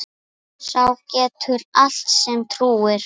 Sá getur allt sem trúir.